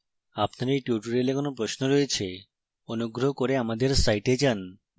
আপনার এই টিউটোরিয়ালে কোনো প্রশ্ন রয়েছে